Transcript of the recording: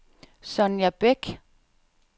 Sonja Bæk